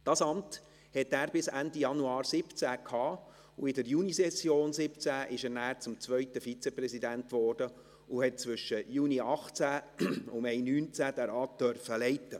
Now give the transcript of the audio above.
Dieses Amt hatte er bis Ende Januar 2017 inne, und in der Junisession 2017 wurde er dann zum 2. Vizepräsidenten und durfte zwischen Juni 2018 und Mai 2019 diesen Rat leiten.